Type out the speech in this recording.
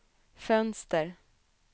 fönster